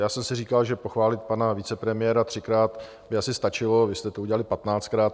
Já jsem si říkal, že pochválit pana vicepremiéra třikrát by asi stačilo, vy jste to udělali patnáctkrát.